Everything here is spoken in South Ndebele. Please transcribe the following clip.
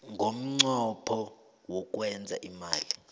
ngomnqopho wokwenza imali